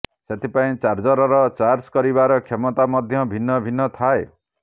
ସେଥିପାଇଁ ଚାର୍ଜରର ଚାର୍ଜ କରିବାର କ୍ଷମତା ମଧ୍ୟ ଭିନ୍ନ ଭିନ୍ନ୍ ଥାଏ